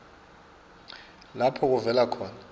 lapho kuvela khona